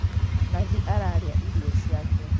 Nathi ararĩa irio ciake